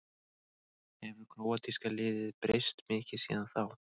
Hefur króatíska liðið breyst mikið síðan þá?